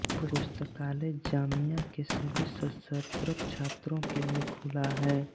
पुस्तकालय जामिया के सभी सशक्त छात्रों के लिए खुला है